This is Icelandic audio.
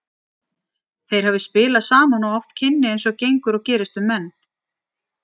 Þeir hafi spilað saman og átt kynni eins og gengur og gerist um menn.